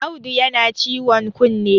Audu yana ciwon kunne!